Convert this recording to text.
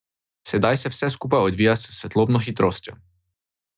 Sedaj se vse skupaj odvija s svetlobno hitrostjo.